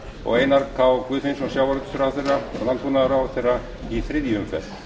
og einar k guðfinnsson sjávarútvegsráðherra og landbúnaðarráðherra í þriðju umferð